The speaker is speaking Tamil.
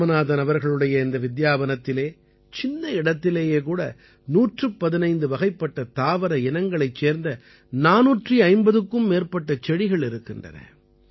இராமநாதன் அவர்களுடைய இந்த வித்யாவனத்திலே சின்ன இடத்திலேயே கூட 115 வகைப்பட்ட தாவர இனங்களைச் சேர்ந்த 450க்கும் மேற்பட்ட செடிகள் இருக்கின்றன